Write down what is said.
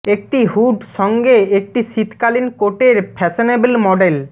একটি হুড সঙ্গে একটি শীতকালীন কোট এর ফ্যাশনেবল মডেল